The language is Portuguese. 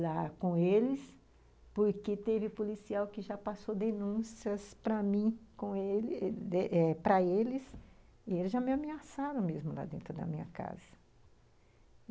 lá com eles, porque teve policial que já passou denúncias para mim, para eles, e eles já me ameaçaram mesmo lá dentro da minha casa.